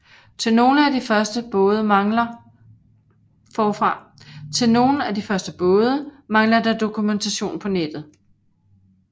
Til nogle af de første både mangler der dokumentation på nettet